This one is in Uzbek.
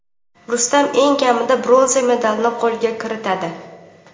Rustam eng kamida bronza medalini qo‘lga kiritadi.